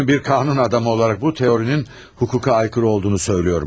Bir qanun adamı olaraq bu teorinin hüquqa aykırı olduğunu söyləyirəm.